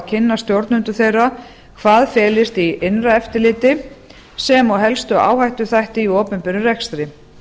kynna stjórnendum þeirra hvað felist í innra eftirliti sem og helstu áhættuþætti í opinberum rekstri